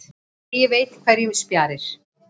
Eigi veit hverjum sparir.